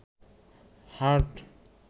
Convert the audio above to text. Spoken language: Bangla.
হার্ট